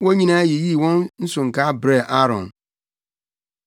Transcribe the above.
Wɔn nyinaa yiyii wɔn nsonkaa brɛɛ Aaron.